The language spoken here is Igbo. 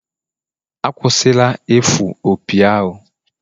Akwụsịla ifụ opi ahụ!